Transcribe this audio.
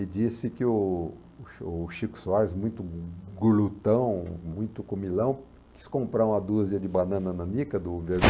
E disse que o o chi o Chico Soares, muito gulutão, muito comilão, quis comprar uma dúzia de banana nanica do